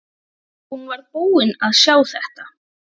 Hún var búin að sjá þetta!